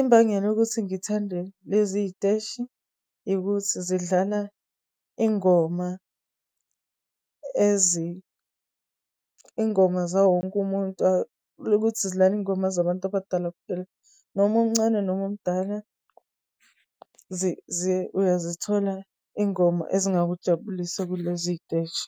Imbangela ukuthi ngithande lezi iy'teshi, yikuthi zidlala ingoma ingoma zawo wonke umuntu zidlala iy'ngoma zabantu abadala kuphela, noma umncane noma umdala uzayithola ingoma ezingakujabulisa kulezi iy'teshi.